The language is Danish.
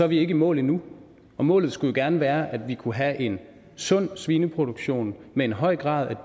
vi ikke i mål endnu og målet skulle gerne være at vi kan have en sund svineproduktion med en høj grad af